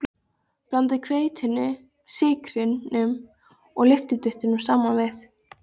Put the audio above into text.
Blandið hveitinu, sykrinum og lyftiduftinu saman við.